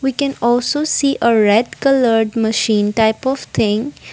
we can also see a red coloured machine type of thing.